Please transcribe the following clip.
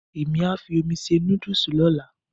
Èmí á fi omi se nódùsì lọ́la